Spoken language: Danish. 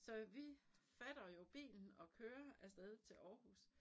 Så vi fatter jo bilen og kører af sted til Aarhus